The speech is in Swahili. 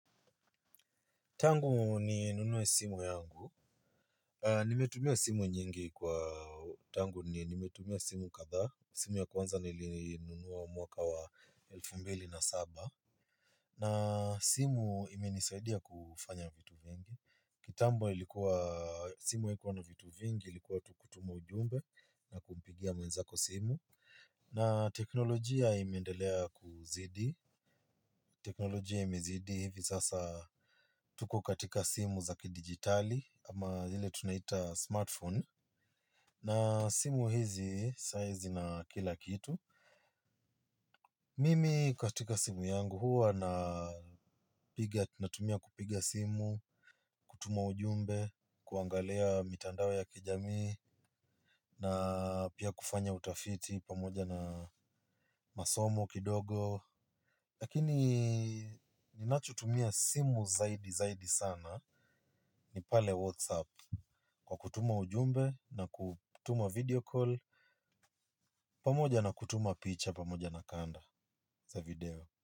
Tangu ni nunue simu yangu. Nimetumia simu nyingi kwa tangu ni nimetumia simu kadhaa. Simu ya kwanza nilinunua mwaka wa elfu mbili na saba simu imenisaidia kufanya vitu vingi kitambo ilikuwa simu haikua na vitu vingi ilikua tu kutuma ujumbe na kumpigia mwenzako simu. Na teknolojia imeendelea kuzidi. Teknolojia imezidi hivi sasa tuko katika simu za kidijitali ama ile tunaita smartphone na simu hizi size na kila kitu. Mimi katika simu yangu huwa natumia kupiga. Lakini ninachotumia simu zaidi zaidi sana ni pale Whatsapp kwa kutuma ujumbe na kutuma video call pamoja na kutuma picha pamoja na kanda za video.